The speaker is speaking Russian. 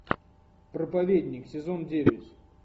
проповедник сезон девять